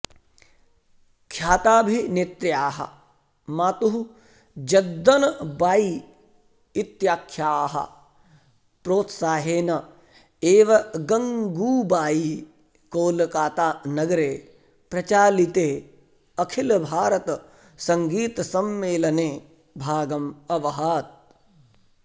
ख्याताभिनेत्र्याः मातुः जद्दनबायी इत्याख्यायाः प्रोत्साहेन एव गङ्गूबायी कोलकतानगरे प्रचालिते अखिलभारतसङ्गीतसम्मेलने भागम् अवहत्